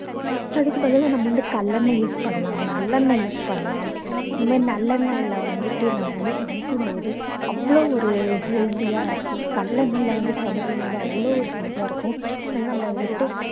அதுக்கு பதிலா நம்ம வந்து கல்லெண்ணெய் use பண்ணலாம் நல்லெண்ணெய் use பண்ணலாம் இந்த மாதிரி நல்லெண்ணெயில வந்துட்டு நம்ம வந்து சமைக்கும்போது அவ்ளோ ஒரு healthy ஆ இருக்கும் கல்லெண்ணெய்ல வந்து சமைக்கும்போது அவ்ளோ ஒரு healthy ஆ இருக்கும் ஆனா நம்ம அதை விட்டு